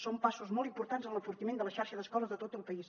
són passos molt importants en l’enfortiment de la xarxa d’escoles de tot el país